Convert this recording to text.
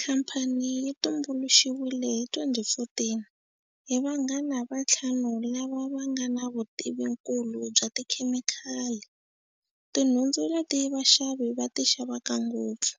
Khamphani yi tumbuluxiwile hi 2014 hi vanghana va ntlhanu lava nga na vutivinkulu bya ti khemikhali, tinhundzu leti vaxavi xa ti xavaka ngopfu,